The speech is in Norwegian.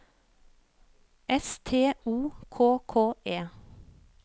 S T O K K E